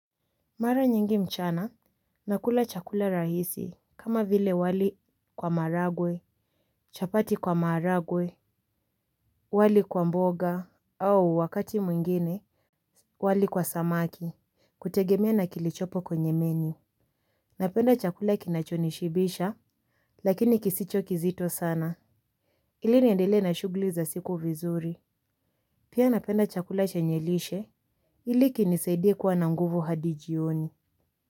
Mara nyingi mchana, nakula chakula rahisi, kama vile wali kwa maragwe, chapati kwa maragwe, wali kwa mboga, au wakati mwingine, wali kwa samaki, kutegemea na kilichopo kwenye menu. Napenda chakula kinachonishibisha, lakini kisicho kizito sana. Ili niendelee na shugli za siku vizuri. Pia napenda chakula chenye lishe, ili kinisaidie kuwa na nguvu hadi jioni.